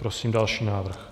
Prosím další návrh.